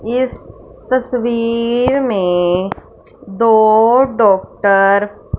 इस तस्वीर में दो डॉक्टर --